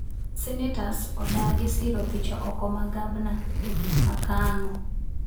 Senetas odagi siro thicho oko ma gabna ma Kango